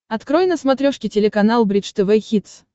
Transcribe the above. открой на смотрешке телеканал бридж тв хитс